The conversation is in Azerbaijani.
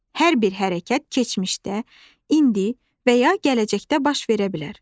Hər bir hərəkət keçmişdə, indi və ya gələcəkdə baş verə bilər.